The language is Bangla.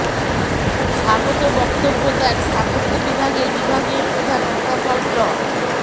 স্বাগত বক্তব্য দেন স্থাপত্য বিভাগের বিভাগীয় প্রধান অধ্যাপক ড